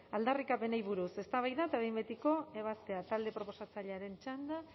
aldarrikapenei buruz eztabaida eta behin betiko ebazpena talde proposatzailearen txanda